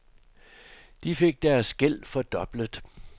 De fik deres gæld fordoblet.